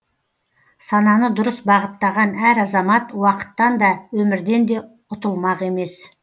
сананы дұрыс бағыттаған әр азамат уақыттан да өмірден де ұтылмақ емес